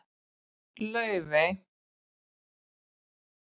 Laufey